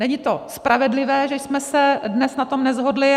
Není to spravedlivé, že jsme se dnes na tom neshodli.